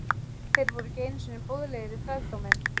Þeir voru ekki einu sinni boðlegir í þrældóminn!